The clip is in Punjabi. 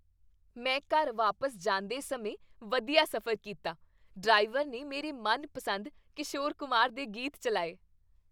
ਮੈਂ ਘਰ ਵਾਪਸ ਜਾਂਦੇ ਸਮਾਂ ਵਧੀਆ ਸਫ਼ਰ ਕੀਤਾ। ਡਰਾਈਵਰ ਨੇ ਮੇਰੇ ਮਨਪਸੰਦ ਕਿਸ਼ੋਰ ਕੁਮਾਰ ਦੇ ਗੀਤ ਚੱਲਾਏ।